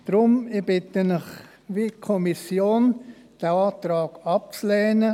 Deswegen bitte ich Sie, den Antrag wie die Kommission abzulehnen.